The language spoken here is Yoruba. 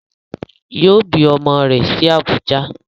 Yoo bi ọmọ rẹ̀ sí Abùjá